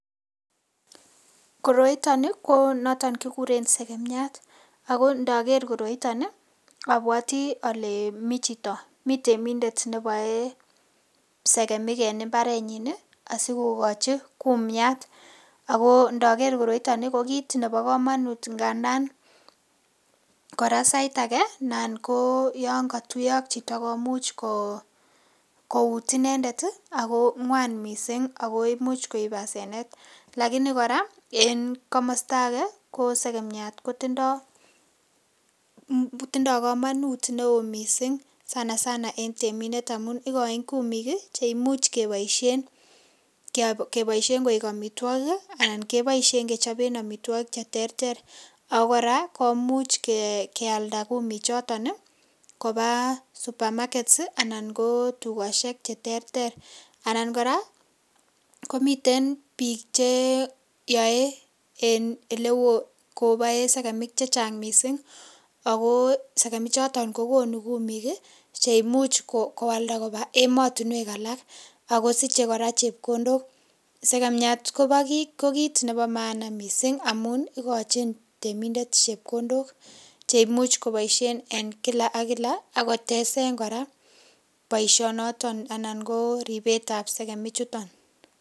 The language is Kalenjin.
Koroito ni ko noton kiguren segemiat, ago ndoker koroito abwati ale mi chito, mi temindet neboe segemik en mbarenyin asikokochi kumiat. Ago ndoker koroito ni ko kiit nebo komonut ngandan kora sait age nan ko yon kotuiyo ak chito komuch kouut inendet ago ngwan mising ago imuch koib hasenet . Lakini kora en komosta age ko segemiat kotindo komonut neo mising sanasana en temindet amun igoin kumik che imuch keboishen koik amitwogik anan keboishen kechoben amitwogik che terter ago kora komuch ke alda kumik choton koba supermarkets anan ko tugoshek che terter anan kora komiten biik ch eyoe en ele koboen segemik che chang mising ago segemik choton ko konu kumik che imuch koalda koba emotinwek alak ago siche kora chepkondok. Segemiat ko kit nebo maana mising amun igochin temindet chepkondok che imuch koboishen en kila ak kila ak kotesen kora boishonoton anan ko ribet ab segemik chuton.